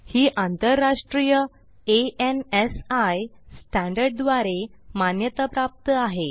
ही आंतराष्ट्रीय ANSI standard द्वारे मान्यताप्राप्त आहे